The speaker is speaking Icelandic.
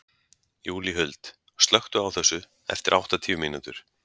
Júlíhuld, slökktu á þessu eftir áttatíu mínútur.